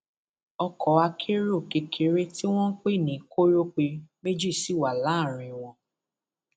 ọkọ akérò kékeré tí wọn ń pè ní kòrópè méjì sì wà láàrín wọn